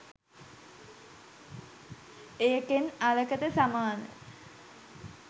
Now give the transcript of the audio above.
ඒකෙන් අරකට සමාන